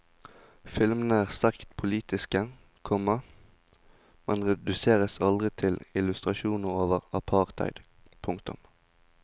Filmene er sterkt politiske, komma men reduseres aldri til illustrasjoner over apartheid. punktum